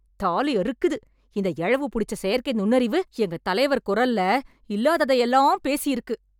தாலி அறுக்குது! இந்த எழவு புடிச்ச செயற்கை நுண்ணறிவு எங்க தலைவர் கொரல்ல இல்லாததையெல்லாம் பேசியிருக்கு